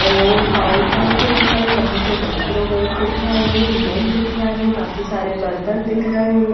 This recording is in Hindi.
और काउंटर के ऊपर यहां पर माइक्रोवेव दिख रहा है नल दिख रहा है काफी सारे बर्तन दिख रहे हैं।